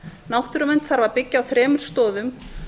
náttúruvernd þarf að byggja á þremur stoðum